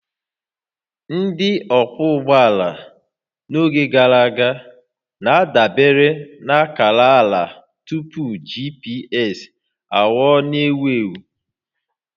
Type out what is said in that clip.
Ndị ọkwọ ụgbọala n'oge gara aga na-adabere na akara ala tupu GPS aghọọ n'ewu ewu